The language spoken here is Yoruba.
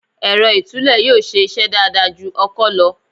Èrọ ìtúlẹ̀ yóò ṣe iṣẹ́ dáadáa ju ọkọ́ lọ.